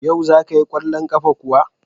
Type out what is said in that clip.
Yau za ka yi kwallon kafa kuwa?